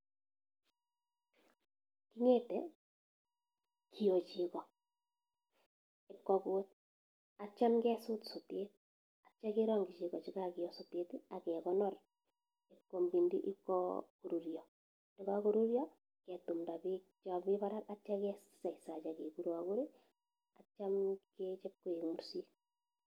KIng'ete kiyo cheko kukut atyam kesut sotet atya kerangchi cheko chekakeyo sotet akekonor ipkoruryo, yekakoruryo ketumnda bek chemi barak atyam kesachsach akekurakur atyam kechap koik mursik.